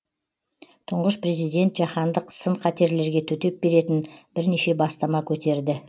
тұңғыш президент жаһандық сын қатерлерге төтеп беретін бірнеше бастама көтерді